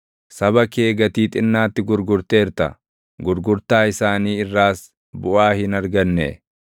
Saba kee gatii xinnaatti gurgurteerta; gurgurtaa isaanii irraas buʼaa hin arganne.